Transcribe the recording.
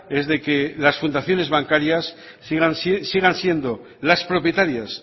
es de que las fundaciones bancarias sigan siendo las propietarias